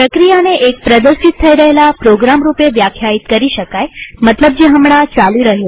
પ્રક્રિયાને એક પ્રદર્શિત થઇ રહેલા પ્રોગ્રામ રૂપે વ્યાખ્યાયિત કરી શકાય મતલબ જે હમણાં ચાલી રહ્યો છે